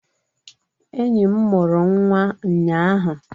Enyi m mụrụ nnwa ụnyaahụ.